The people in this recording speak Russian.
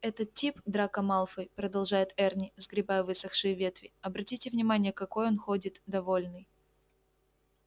этот тип драко малфой продолжает эрни сгребая высохшие ветви обратите внимание какой он ходит довольный